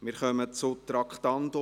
Wir kommen zum Traktandum 76: